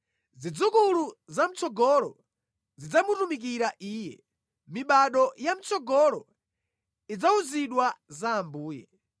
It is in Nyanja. Zidzukulu zamʼtsogolo zidzamutumikira Iye; mibado ya mʼtsogolo idzawuzidwa za Ambuye.